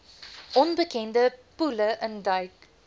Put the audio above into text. onbekende poele induik